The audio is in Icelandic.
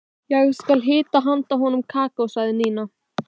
Ég skal hita handa honum kakó sagði Nína.